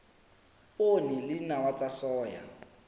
poone le dinawa tsa soya